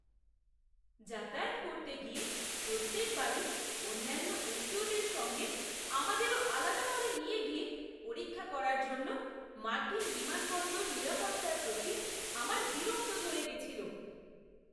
যাতায়াত করতে গিয়ে প্রত্যেক বারই অন্যান্য এশীয়দের সঙ্গে আমাদেরও আলাদা করে নিয়ে গিয়ে পরীক্ষা করার জন্য মার্কিন বিমানবন্দর নিরাপত্তার প্রতি আমার বিরক্ত ধরে গেছিল।